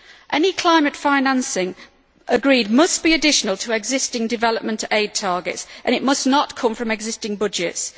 Any climate financing agreed must be additional to existing development aid targets and it must not come from existing budgets.